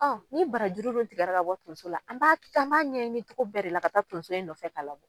Ni barajuru don tigɛra ka bɔ tonso la, an b'a ɲɛɲini cogo bɛɛ de la ka taa tonso in nɔfɛ k'a labɔ.